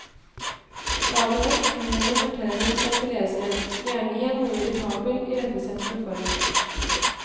Stadig vekk henvender fortelleren seg til leseren, gjerne i en noe irritabel, irettesettende form.